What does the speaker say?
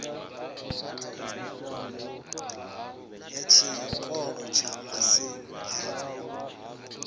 ya tshiṱoko tsha masimu avho